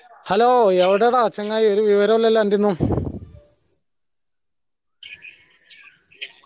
hello യെവടെടാ ചങ്ങായി ഒരു വിവരില്ലലോ എന്റെയൊന്നും